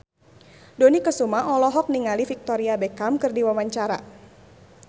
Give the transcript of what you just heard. Dony Kesuma olohok ningali Victoria Beckham keur diwawancara